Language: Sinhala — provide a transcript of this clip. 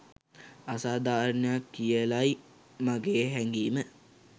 අසාධාරණයක් කියලයි මගේ හැගීම.